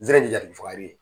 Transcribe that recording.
Nzɛrɛn ni jatigifaga